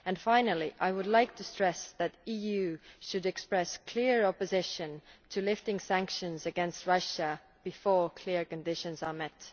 Finally, I would like to stress that the EU should express clear opposition to lifting sanctions against Russia before clear conditions are met.